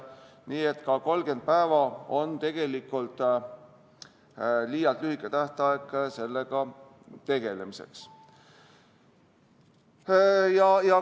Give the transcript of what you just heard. Nii et ka 30 päeva on liialt lühike tähtaeg sellega tegelemiseks.